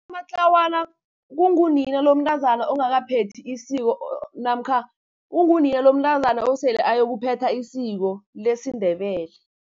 Umatlawana kungunina lomntazana ongakaphelethi isiko, namkha ungunina lomntazana osele ayokuphetha isiko lesiNdebele.